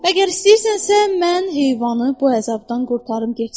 Əgər istəyirsənsə, mən heyvanı bu əzabdan qurtarım getsin.